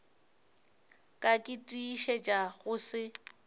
ka ke tiišetša go se